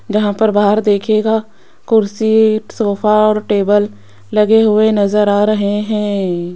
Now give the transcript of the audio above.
जहां पर बाहर देखियेगा कुर्सी सोफा और टेबल लगे हुए नजर आ रहे हैं।